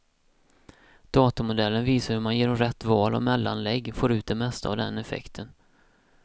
Datormodellen visar hur man genom rätt val av mellanlägg får ut det mesta av den effekten.